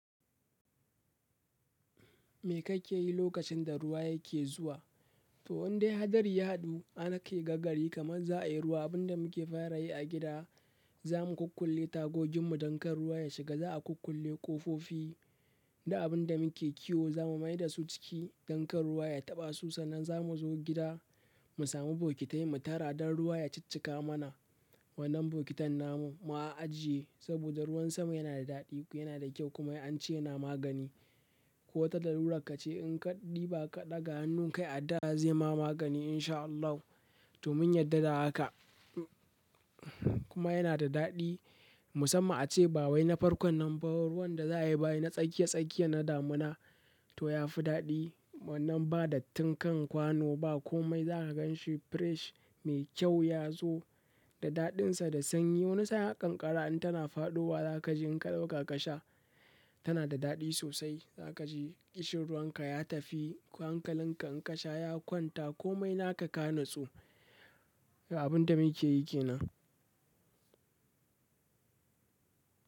Me kake yi lokacin da ruwa yake zuwa? To, in dai hadari ya haɗu, har kai gagarai kamar za a yi ruwa. Abin da muke fara yi a gida, za mu kunkulle tagogin mu don kar ruwa ya shiga. Za a kunkulle ƙofofi da abin da muke kiwo za mu mai da su ciki don kar ruwa ya taɓa su. Sannan za mu zo gida, mu sami bokitai, mu tara don ruwa ya ciccika mana. Bokitan namu mu ah ajiye saboda ruwan sama yana da daɗi kuma wai ance yana magani ko wata larura ka ce in ka ɗiba ka ɗaga hannun kai a da zai ma magani in sha Allah. To mun yadda da haka. Kuma yana da daɗi. Musamman ace ba wai na farkon nan ba ruwan da za a yi bayi na tsakiya-tsakiya na damuna. To ya fi daɗi. Wannan ba dattinkan kwano ba komai za ka gan shi fresh mai kyau ya zo da daɗinsa da sanyi. Wani sa'an har kan ƙara in tana faɗowa za ka ji in ka ɗauka ka sha tana da daɗi sosai. Za ka ji ƙishirwanka ya tafi hankalinka in ka sha ya kwanta komai naka ka natsu. Abin da muke yi ke nan.